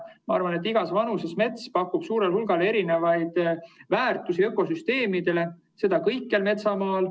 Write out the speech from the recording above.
Ma arvan, et igas vanuses mets pakub suurel hulgal erinevaid väärtusi ökosüsteemidele, seda kõikjal metsamaal.